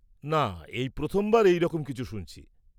-না, এই প্রথমবার এই রকম কিছু শুনছি।